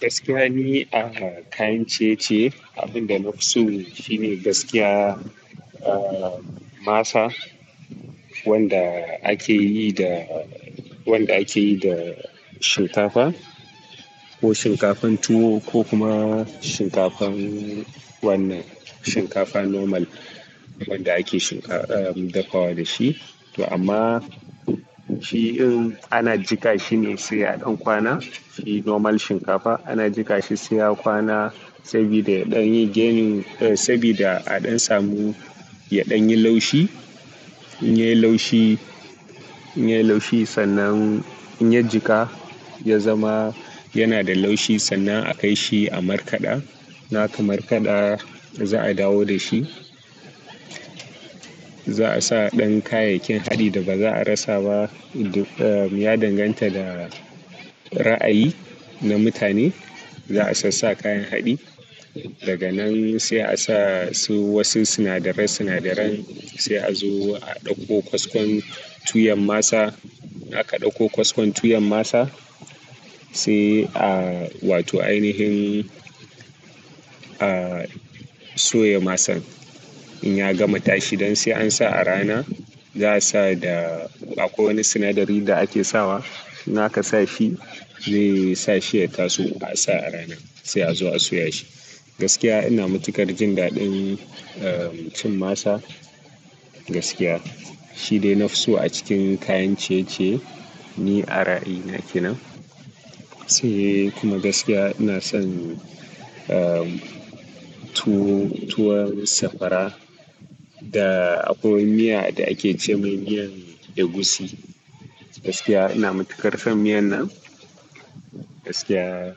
Gaskiya ni a kayan ciye-ciye, abin da na fi so shi ne gaskiya, ah, masa wanda ake yi da, wanda ake yi da shinkafa ko shinkafan tuwo ko kuma shinkafan wannan shinkafa normal wanda ake shin ka, ah, dafawa da shi. To amma shi irin ana jika shi ne sai a ɗan kwana, shi normal shinkafa ana jika shi sai ya kwana sabida ya ɗan yi gaining, sabida a ɗan samu ya ɗan yi lashi. In ya yi laushi, in ya yi laushi sannan in ya jika, ya zama yana da laushi sannan a kai shi a markaɗa. Na ka markaɗa da za a dawo da shi. Za a sa dan kayyayakin hadi, da baza a rasa ba duk ya danganta ga ra'ayi na mutane. Za a sassaa kayan haɗi. Daga nan sai a sa su wasu sinadaran sinadaran, sai a zo a ɗauko kaskon tuyan masa. Aka ɗauko kaskon tuyan masa, sai a wato ainihin, ah, soya masan. In ya gama tashi, don sai an sa a rana, za a sa da akwai wani sinadari da ake sawa. In aka sa shi, zai sa shi ya taso a sa a rana, sai a zo a soya shi. Gaskiya ina matuƙar jin daɗin, ah, cin masa gaskiya. Shi dai na fi so a cikin kayan chiye-chiye. Ni a ra'ayi na ke nan. Sai kuma gaskiya ina san, ah, tuwo, tuwon sakwara da akwai miya da ake ce mai miyan egusi. Gaskiya ina matuƙar son miyan nan. Gaskiya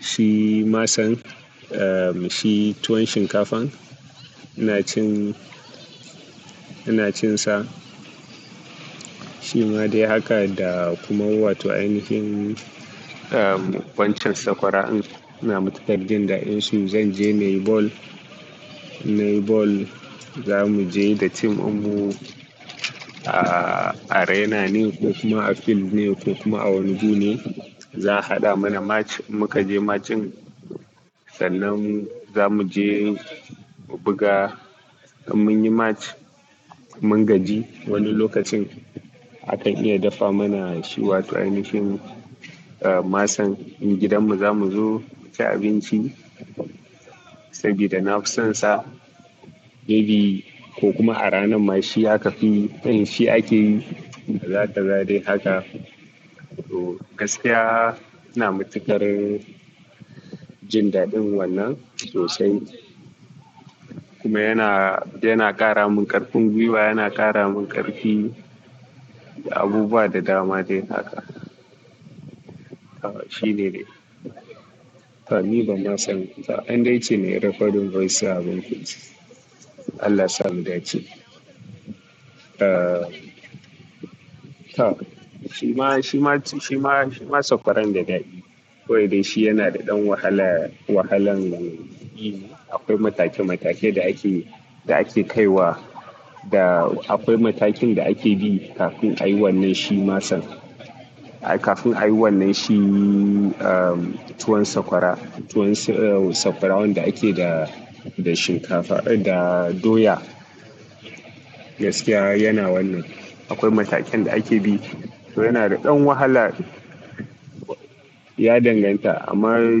shi masan, ah, shi tuwon shinkafan ina cin, ina cin sa. Shi ma dai haka da kuma wato ainihin, ah, ƙwan cin sakwara ina matuƙar jin daɗin su. Zan je nayi ball, nayi ball za mu je da tim ɗin mu a arena ne ko kuma a fil ne ko kuma a wani guri ne. Za a haɗa mana match, muka je match din. Sannan za mu je mu buga. In mun yi match, mun gaji wani lokacin akan iya dafa mana shi wato ainihin, ah, masan. In gidanmu za mu zo mu ci abinci sabida na fi son sa. Maybe ko kuma a ranar ma shi aka fi in shi ake yi. Kaza kaza dai haka. To gaskiya ina matuƙar jin daɗin wannan sosai. Kuma yana, yana ƙara mun ƙarfin gwiwa, yana ƙara mun ƙarfi. Abubuwa da dama dai haka. Ah, shi ne dai. Fa ni ban ma san ba, an dai ce me raƙodin voice na abun ku ce. Allah sa mu dace. Ah, tak. Shi ma, shi ma, shi ma, shi ma sakwaran da daɗi. Kawai dai shi yana da ɗan wahala, wahalan yi ne. Akwai matake matakan da ake da ake kaiwa da akwai matakin da ake bi kamin a yi wanman shi ai kafin a yi wannan shi, ah, tuwon sakwara, tuwon, ah, sakwara wanda ake da, da shinkafa, da doya. Gaskiya yana wannan. Akwai matakin da ake bi. To yana da ɗan wahala ya danganta amma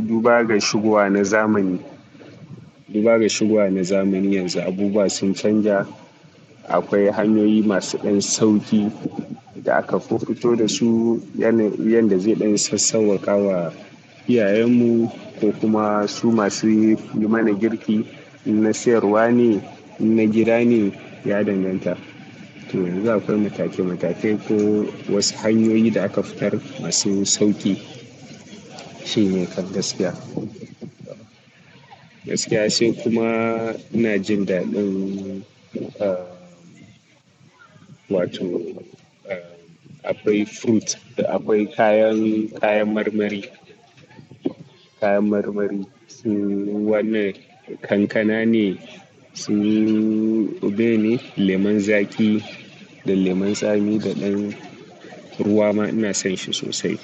duba ga shigowa na zamani. Duba ga shigowa na zamani yanzu abubuwa sun canza. Akwai hanyoyi masu ɗan sauƙi da aka fuffuto da su, yanda, yanda zai ɗan sassauwaƙa wa iyayenmu ko kuma su masu yi mana girki. In na siyarwa ne, in na gida ne ya danganta. Toh in de akwai matake matake ko wasu hanyoyi da aka fitar masu sauki. Shi ne kam gaskiya. Gaskiya se kuma ina jin dadin ahh, wato ahh, da akwai sweet, da akwai kayan marmari kayan marmari su wannan kankana ne, su bene, lemon zaƙi da lemon tsami da ɗan ruwa ma ina son shi sosai.